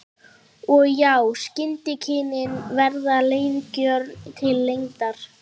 Og já, skyndikynnin verða leiðigjörn til lengdar.